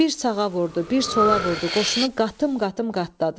Bir sağa vurdu, bir sola vurdu, qoşunu qatım-qatım qatladı.